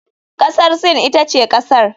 Kasar Sin ita ce kasar.